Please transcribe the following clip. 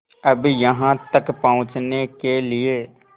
अब यहाँ तक पहुँचने के लिए